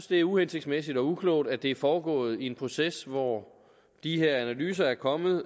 det er uhensigtsmæssigt og uklogt at det er foregået i en proces hvor de her analyser er kommet